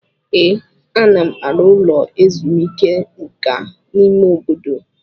Ee, ana m arụ ụlọ ezumike nka n'ime obodo.